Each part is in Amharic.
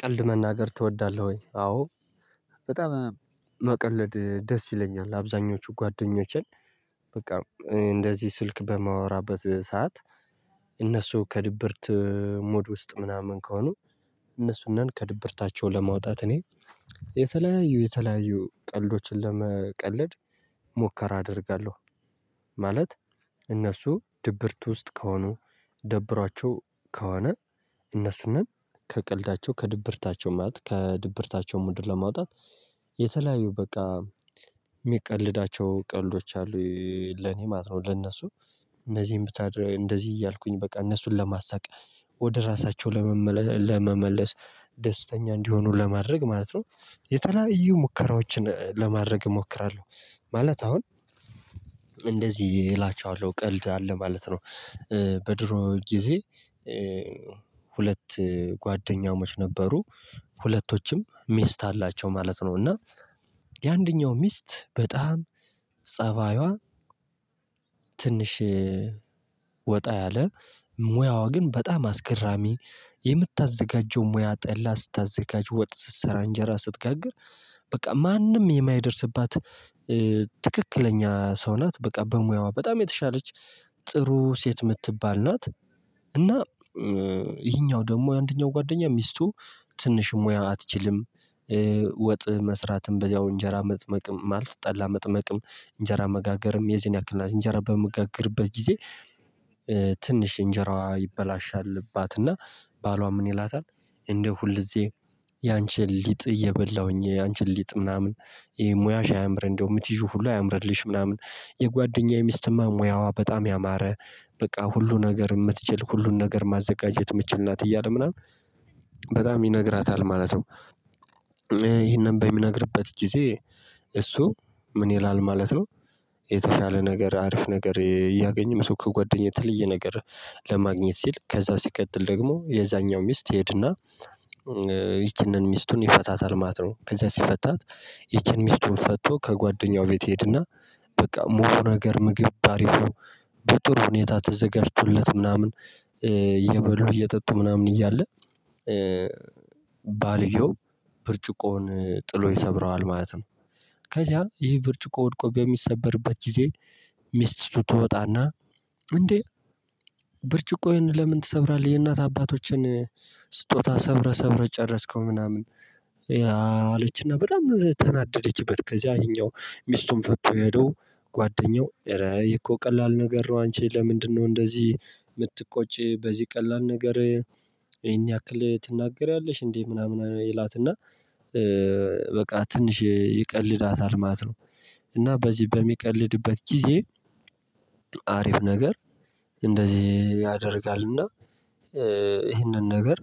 ቀልድ መናገር ትወዳለህ ወይ? አዎ በጣም መቀለድ ደስ ይለኛል። አብዛኞቹ ጓደኞችን በቃ እንደዚህ ስልክ በማወራበት ሰዓት። እነሱ ከድብርት ሙድ ውስጥ ምናምን ከሆኑ። እነሱንን ከድብርታቸው ለማውጣት እኔ የተለያዩ የተለያዩ ቀልዶችን ለመቀለድ ሙከራ አደርጋለሁ። ማለት እነሱ ድብርት ውስጥ ከሆኑ ደብሯቸው ከሆነ እነሱንም ከቀልዳቸው ከድብርታቸው ማለት ከድብርታቸው ሙድ ለማውጣት የተለያዩ በቃ ሚቀልዳቸው ቀልዶች አሉ። ለኔ ማለት ነው ለነሱ እነዚህን ብታደርግ እንደዚህ እያልኩኝ በቃ እነሱን ለማሳቅ ወደ ራሳቸው ለመመለስ ደስተኛ እንዲሆኑ ለማድረግ ማለት ነው። የተለያዩ ሙከራዎችን ለማድረግ እሞክራለሁ። ማለት አሁን እንደዚህ እላቸዋለሁ ቀልድ አለ ማለት ነው። በድሮ ጊዜ። ሁለት ጓደኛሞች ነበሩ ሁለቶችም ሚስት አላቸው ማለት ነው። እና የአንደኛው ሚስት በጣም ፀባይዋ ትንሽ ወጣ ያለ ሙያዋ ግን በጣም አስገራሚ የምታዘጋጀው ሙያ ጠላ ስታዘጋጅ ወጥ ስትሰራ እንጀራ ስትጋግር በቃ ማንም የማይደርስባት ትክክለኛ ሰው ናት። በቃ በሙያዋ በጣም የተሻለች ጥሩ ሴት የምትባል ናት። እና ይሄኛው ደግሞ የአንደኛው ጓደኛ ሚስቱ ትንሽ ሙያ አትችልም። ወጥ መስራትም በዚያው እንጀራ መጥመቅም ማለት ጠላ መጥመቅም እንጀራ መጋገርም የዚህን ያክል ናት እንጀራ በመጋገርበት ጊዜ። ትንሽ እንጀራዋ ይበላሽባት እና ባሏ ምን ይላታል? እንደ ሁልጊዜ ያንቺን ሊጥ እየበላሁኝ ያንቺን ሊጥ ምናምን ይሄ ሙያሽ አምር እንደው ምት ይዤ ሁሉ አያምርልሽ ምናምን የጓደኛዬ ሚስትማ ሙያዋ በጣም ያማረ በቃ ሁሉ ነገር የምትችል ሁሉን ነገር ማዘጋጀት የምትችል ናት እያለ ምናምን በጣም ይነግራታል ማለት ነው። ይሄንን በሚነግርበት ጊዜ እሱ ምን ይላል ማለት ነው? የተሻለ ነገር አሪፍ ነገር እያገኘህ ሰው ከጓደኛ የተለየ ነገር ለማግኘት ሲል ከዛ ሲቀጥል ደግሞ የዛኛው ሚስት ሄድና ይቺንን ሚስቱን ይፈታታል ማለት ነው ከዛ ሲፈታት። ይቺን ሚስቱን ፈቶ ከጓደኛው ቤት ይሄድና በቃ ሞቃት ነገር ምግብ ባሪፍ ነው። በጥሩ ሁኔታ ተዘጋጅቶለት ምናምን እየበሉ እየጠጡ ምናምን እያለ። ባልየው ብርጭቆውን ጥሎ ይሰብረዋል ማለት ነው። ከዚያ ይህ ብርጭቆ ወድቆ በሚሰበርበት ጊዜ። ሚስቲሱ ትወጣና እንዴ ብርጭቆዬን ለምን ትሰብራለህ? የእናት አባቶችን ስጦታ ሰብረ ሰብረ ጨረስከው ምናምን። አለችና በጣም ተናደደችበት ከዚያ ይሄኛው ሚስቱን ፈቶ ሄዶ ጓደኛው እረ ይሄ እኮ ቀላል ነገር ነው አንቺ ለምንድነው እንደዚህ የምትቆጪ በዚህ ቀላል ነገር። ይሄን ያክል ትናገሪያለሽ እንዴ ምናምን ይላታል። እና በቃ ትንሽ ይቀልዳታል ማት ነው። እና በዚህ በሚቀልድበት ጊዜ አሪፍ ነገር እንደዚህ ያደርጋልና ይህንን ነገር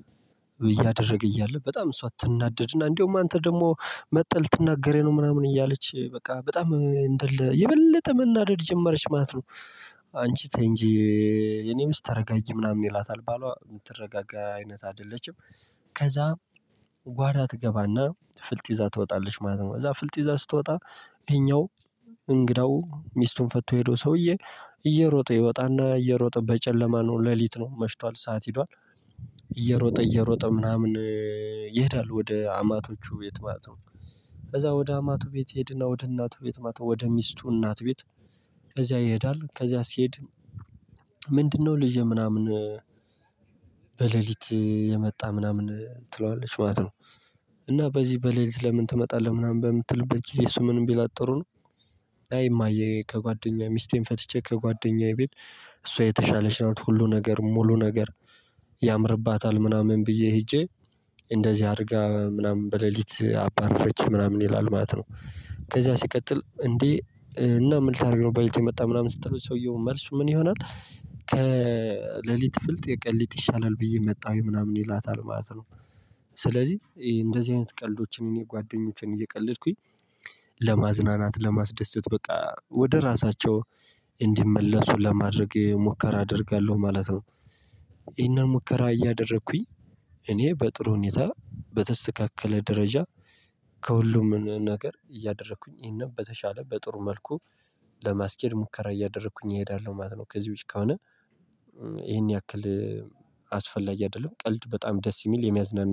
እያደረገ እያለ በጣም እሷ አትናደድና እንደውም አንተ ደግሞ መጥተህ ልትናገረኝ ነው ምናምን እያለች በቃ በጣም እንደ የበለጠ መናደድ ጀመረች ማለት ነው። አንቺ ተይ ንጂ እኔ ሚስት ተረጋጊ ምናምን ይላታል ባሏ የምትረጋጋ አይነት አይደለችም። ከዛ ጓዳ ትገባና ፍልጥ ይዛ ትወጣለች ማለት ነው። እዛ ፍልጥ ይዛ ስትወጣ ይሄኛው እንግዳው ሚስቱን ፈቶ የሄደው ሰውዬ እየሮጠ ይወጣና እየሮጠ በጨለማ ነው ሌሊት ነው መሽቷል ሰዓት ሄዷል። እየሮጠ እየሮጠ ምናምን ይሄዳል ወደ አማቶቹ ቤት ማለት ነው። ከዛ ወደ አማቱ ቤት ይሄድና ወደ እናቱ ቤት አማቱ ወደ ሚስቱ እናት ቤት። ከዚያ ይሄዳል ከዚያ ሲሄድ ምንድነው ልጄ ምናምን። በሌሊት የመጣ ምናምን ትለዋለች ማለት ነው። እና በዚህ በሌሊት ለምን ትመጣለህ? ምናምን በምትልበት ጊዜ ምንም እሱ ምን ቢላት ጥሩ ነው። አይ እማዬ ከጓደኛዬ ሚስቴን ፈትቼ ከጓደኛዬ ቤት። እሷ የተሻለች ናት ሁሉ ነገር ሙሉ ነገር ያምርባታል ምናምን ብዬ ሄጄ እንደዚህ አድርጋ ምናምን በሌሊት አባረፈች ምናምን ይላል ማለት ነው። ከዛ ሲቀጥል እንዴ እና ምልታ አድርገው በለሊት የመጣ ምናምን ስትሉ ሰውየው መልሱ ምን ይሆናል? ከሌሊት ፍልጥ የቀን ልጥ ይሻላል ብዬ መጣሁኝ ምናምን ይላታል ማለት ነው። ስለዚህ እንደዚህ አይነት ቀልዶችን የጓደኞቼን እየቀለድኩኝ ለማዝናናት ለማስደሰት በቃ ወደ ራሳቸው እንዲመለሱ ለማድረግ ሙከራ አደርጋለሁ ማለት ነው። ይሄን ሙከራ እያደረኩኝ እኔ በጥሩ ሁኔታ በተስተካከለ ደረጃ ከሁሉም ነገር እያደረኩኝ ይሄን በተሻለ በጥሩ መልኩ ለማስኬድ ሙከራ እያደረኩኝ እሄዳለሁ ማለት ነው። ከዚህ ውጪ ከሆነ ይሄን ያክል አስፈላጊ አይደለም ቀልድ በጣም ደስ የሚል የሚያዝናና